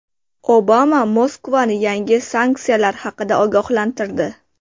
Obama Moskvani yangi sanksiyalar haqida ogohlantirdi.